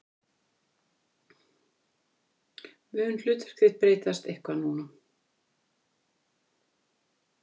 Mun hlutverk þitt breytast eitthvað núna?